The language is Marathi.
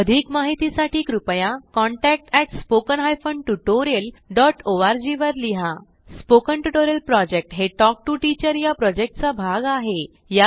अधिक माहितीसाठी कृपया contact at spoken hyphen tutorial dot O R G वर लिहा स्पोकन ट्युटोरियल प्रॉजेक्ट हे टॉक टू टीचर या प्रॉजेक्टचा भाग आहे